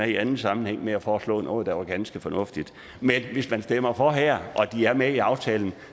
i anden sammenhæng ved at foreslå noget der var ganske fornuftigt men hvis man stemmer for her og de er med i aftalen